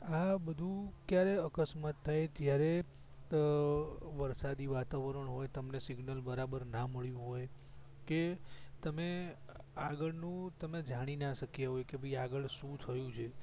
આ બધું ક્યારે અકસ્માત થાય જયારે વરસાદી વાતાવરણ હોય તમને સિગ્નલ બરાબર ના મળ્યું હોય કે આગળ નું તમે જાણી ન શક્યા હોય કે આગળ શું થયું છે